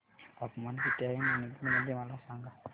तापमान किती आहे मणिपुर मध्ये मला सांगा